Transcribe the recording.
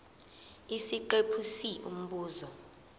isiqephu c umbuzo